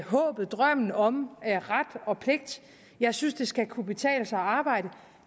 håbet drømmen om ret og pligt jeg synes det skal kunne betale sig at arbejde